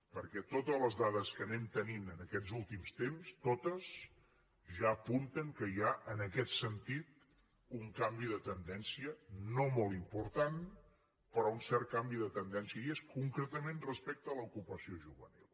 perquè totes les dades que anem tenint en aquests últims temps totes ja apunten que hi ha en aquest sentit un canvi de tendència no molt important però un cert canvi de tendència i és concretament respecte a l’ocupació juvenil